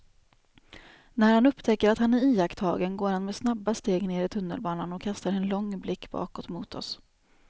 När han upptäcker att han är iakttagen går han med snabba steg ner i tunnelbanan och kastar en lång blick bakåt mot oss.